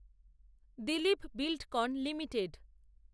Dilip Buildcon limited